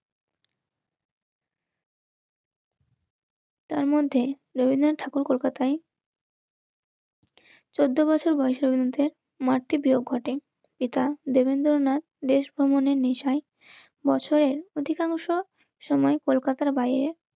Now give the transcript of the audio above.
রবীন্দ্রনাথ যে সকল কবিতা বা নাটক লিখেছিলেন. তার মধ্যে রবীন্দ্রনাথ ঠাকুর কলকাতাই চোদ্দ বছর বয়সের মধ্যে মাতৃ বিয়োগ ঘটে